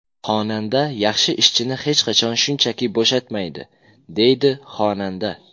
Xonanda yaxshi ishchini hech qachon shunchaki bo‘shatmaydi”, deydi xonanda.